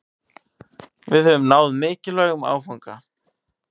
Við höfum náð mikilvægum áfanga